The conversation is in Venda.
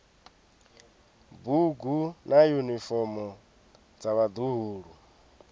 bugu na yunifomo dza vhaḓuhulu